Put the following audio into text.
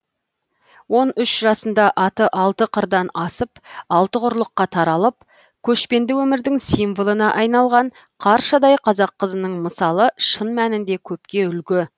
он үш жасында аты алты қырдан асып алты құрлыққа таралып көшпенді өмірдің символына айналған қаршадай қазақ қызының мысалы шын мәнінде көпке үлгі